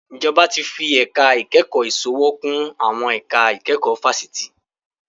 Ìjọba tí fi ẹ̀ka ìkẹ́kọ̀ọ́ ìsòwò kún àwọn ẹ̀ka ìkẹ́kọ̀ọ́ fáṣítì